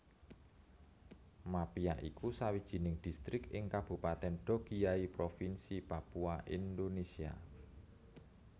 Mapia iku sawijining distrik ing Kabupatèn Dogiyai Provinsi Papua Indonesia